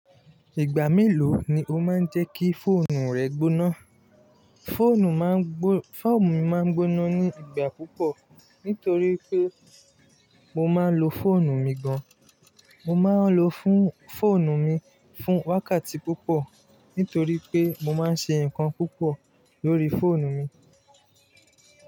Ìgbà mélòó ni o máa ń jẹ́ kí fóònù rẹ gbóná? Foonu Fóònù mi máa ń gbóná ní ìgbà púpọ̀ nítorí pé mo máa ń lo fóònù mi gan. Mo máa ń lo fóònù mi fún wákàtí púpọ̀ nítorí pé mo máa ń ṣe nnkan púpọ̀ lórí fóònù mi.